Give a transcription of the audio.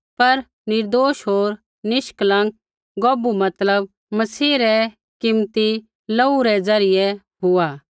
पर निर्दोष होर निष्कलंक गौभू मतलब मसीह रै कीमती लोहू रै द्वारा हुआ